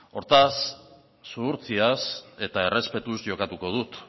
hortaz zuhurtziaz eta errespetuz jokatuko dut